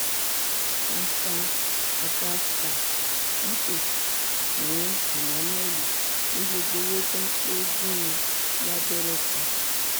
atass ta mọtò fún emmanuel bó ṣe gbowó tán ló gún un lábẹrẹ pa